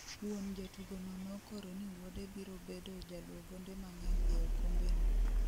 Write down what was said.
Wuon jatugo no nokoro ni wuode biro bedo jaloo gonde mang'eny e okombe no